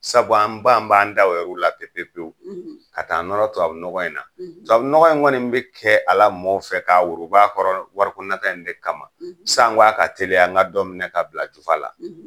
Sabu an b'an b'an ta yɛrɛ o la pewu pewu, , ka taa nɔrɔ tubabu nɔgɔ in na. . Tubabu nɔgɔ in kɔni bɛ kɛ ala mɔɔw fɛ k'a woroba kɔrɔ wari ko nata in de kama, , sanko a ka teliya an ka dɔ minɛ ka bila jufa la.